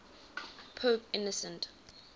pope innocent